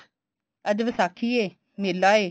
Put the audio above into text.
ਅੱਜ ਵਿਸਾਖੀ ਏ ਮੇਲਾ ਏ